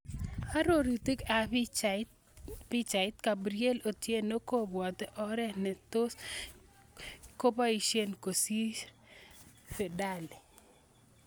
Arorutik ab pichait, Gabriel Otieno kobwote oret ne tos koboisie kosir Fadhili.